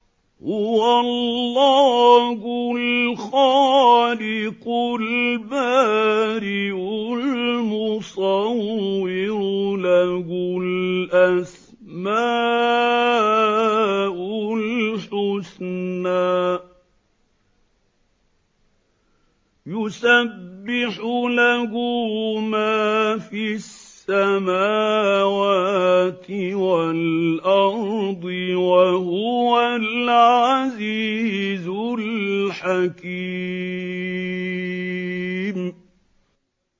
هُوَ اللَّهُ الْخَالِقُ الْبَارِئُ الْمُصَوِّرُ ۖ لَهُ الْأَسْمَاءُ الْحُسْنَىٰ ۚ يُسَبِّحُ لَهُ مَا فِي السَّمَاوَاتِ وَالْأَرْضِ ۖ وَهُوَ الْعَزِيزُ الْحَكِيمُ